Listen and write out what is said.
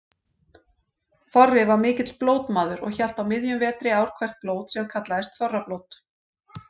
Þorri var mikill blótmaður og hélt á miðjum vetri ár hvert blót sem kallaðist þorrablót.